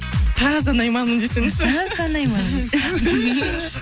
таза найманмын десеңізші таза найманмын